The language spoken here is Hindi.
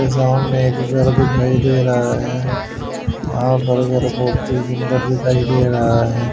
ये सामने एक घर दिखाई दे रहा है यहां पर मेरे को अति सुंदर दिखाई दे रहा है।